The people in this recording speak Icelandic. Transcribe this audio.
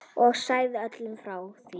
Og sagt öllum frá því.